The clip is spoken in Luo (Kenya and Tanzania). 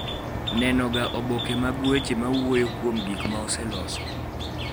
neno ga oboke mag weche ma wuoyo kuom gik ma oseloso